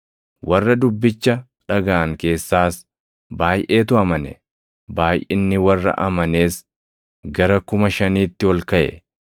Warra dubbicha dhagaʼan keessaas baayʼeetu amane; baayʼinni warra amanees gara kuma shaniitti ol kaʼe.